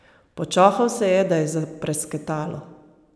Počohal se je, da je zaprasketalo.